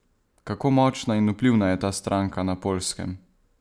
Kako močna in vplivna je ta stranka na Poljskem?